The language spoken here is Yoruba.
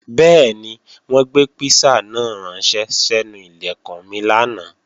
Bẹ́ẹ̀ni, wọ́n gbé písà náà ránṣẹ́ sẹ́nu Ilẹ̀kùn mi lánàá